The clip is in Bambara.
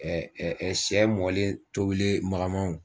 sɛ mɔlen tobilen magamanw